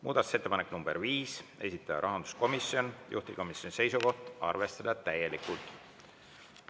Muudatusettepanek nr 5, esitaja on rahanduskomisjon, juhtivkomisjoni seisukoht on arvestada täielikult.